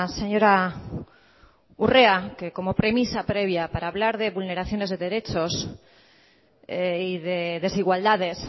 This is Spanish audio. señora urrea que como premisa previa para hablar de vulneraciones de derechos y de desigualdades